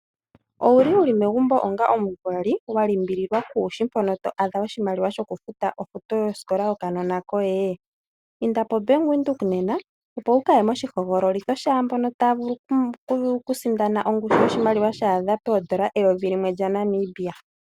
Owuli wuli megumbo onga omuvali wa limbililwa kuushi mpono to adha oshimaliwa shoku futa ofuto yosikola yokanona koye m? inda po Bank Windhoek nena opo wu kaye mooshihogololitho shaambono taya vulu okusindana ongushu yoshimaliwa sha adha poondola eyovi limwe lya Namibia.